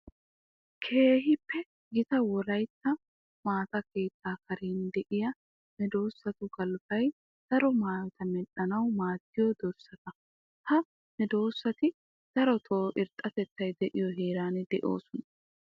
Keehippe gita wolaytta maata keettaa karen de'iya meedosattu galbbay daro maayotta medhdhanawu maadiyo dorssatta. Ha meedosatti darotto irxxatettay de'iyo heera dosoosonna.